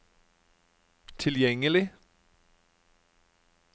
tilgjengelig